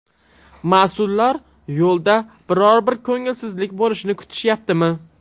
Mas’ullar yo‘lda biror bir ko‘ngilsizlik bo‘lishini kutishyaptimi?